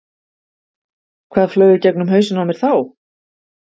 Hvað flaug í gegnum hausinn á mér þá?